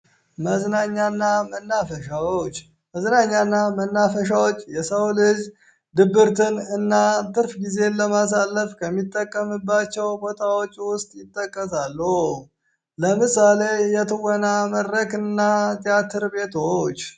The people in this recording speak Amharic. መዝናኛና መናፈሻዎች መዝናኛና መናፈሻዎች የሰው ልጅ ድብርትን እና ትርፍ ጊዜ ለማሳለፍ ከሚጠቀምባቸው ቦታዎች ውስጥ ይጠቀሳለ። ለምሳሌ የትወና መድረክ እና ቴያትር ቤቶዎች